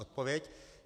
Odpověď?